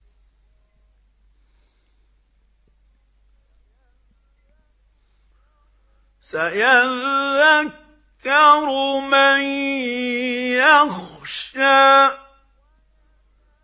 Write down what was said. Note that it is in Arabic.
سَيَذَّكَّرُ مَن يَخْشَىٰ